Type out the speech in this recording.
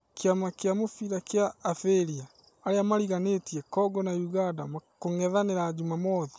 Kĩama kĩa mũbira kĩa Abiria: arĩa mariganĩtie Kongo na Ũganda kung'ethanĩra Jumamwothi.